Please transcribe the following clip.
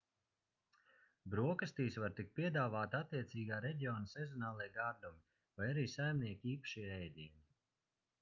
brokastīs var tikt piedāvāti attiecīgā reģiona sezonālie gardumi vai arī saimnieka īpašie ēdieni